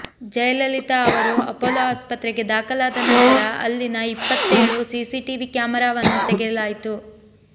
ಜಯಲಲಿತಾ ಅವರು ಅಪೋಲೋ ಆಸ್ಪತ್ರೆಗೆ ದಾಖಲಾದ ನಂತರ ಅಲ್ಲಿನ ಇಪ್ಪತ್ತೇಳು ಸಿಸಿಟಿವಿ ಕ್ಯಾಮೆರಾವನ್ನು ತೆಗೆಯಲಾಯಿತು